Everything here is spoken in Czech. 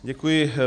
Děkuji.